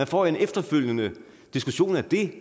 får en efterfølgende diskussion af det